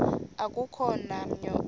akukho namnye oya